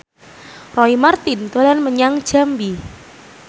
Roy Marten dolan menyang Jambi